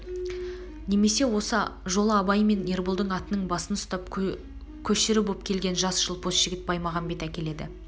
немесе осы жолы абай мен ерболдың атының басын ұстап көшрі боп келген жас жылпос жігіт баймағамбет әкеледі